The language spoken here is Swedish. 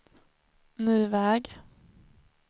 ny väg